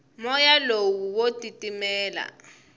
moya lowu wa titimela